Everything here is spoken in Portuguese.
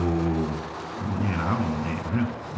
Ou mineral, né? né